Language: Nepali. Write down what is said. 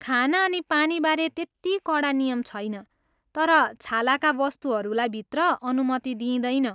खाना अनि पानीबारे त्यति कडा नियम छैन तर छालाका वस्तुहरूलाई भित्र अनुमति दिँइदैन।